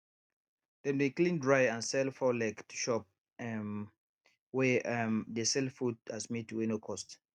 dem dey clean dry and sell fowl leg to shop um wey um dey sell food as meat wey no cost